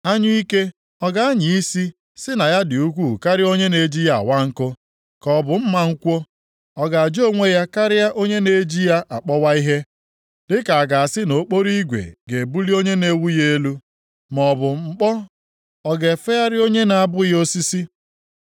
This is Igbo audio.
Anyụike ọ ga-anya isi sị na ya dị ukwuu karịa onye na-eji ya awa nkụ, ka ọ bụ mma nkwọ, ọ ga-aja onwe ya karịa onye na-eji ya akpọwa ihe? Dịka a ga-asị na okporo igwe ga-ebuli onye na-eweli ya elu, maọbụ mkpọ ọ ga-efegharị onye na-abụghị osisi.